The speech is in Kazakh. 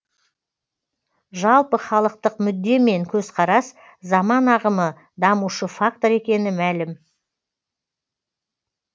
жалпыхалықтық мүдде мен көзқарас заман ағымы дамушы фактор екені мәлім